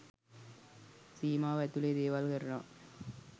සීමාව ඇතුළෙ දේවල් කරනවා.